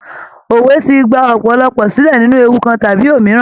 Òwe ti gba òpòlopò silẹ nínú ewu kan tàbí òmíràn.